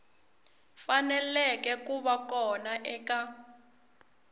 faneleke ku va kona eka